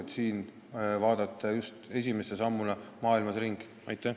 Just siin tahetakse esimese sammuna maailmas ringi vaadata.